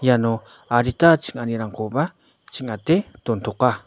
iano adita ching·anirangkoba ching·ate dontoka.